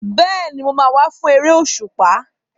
Bẹ́ẹ̀ni, mo máa wá fún eré òṣùpá.